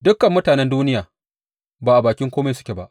Dukan mutanen duniya ba a bakin kome suke ba.